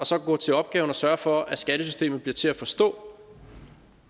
så at gå til opgaven og sørge for at skattesystemet bliver til at forstå